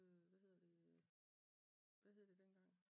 Hvad hedder det nu? Hvad hed det dengang?